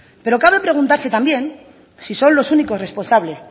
pero cabe preguntarse también si son los únicos responsables